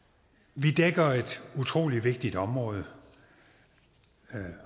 vi dækker et utrolig vigtigt område